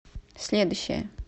следующая